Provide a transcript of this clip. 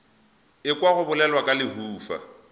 ekwa go bolelwa ka lehufa